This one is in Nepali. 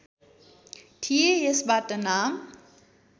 थिएँ यसबाट नाम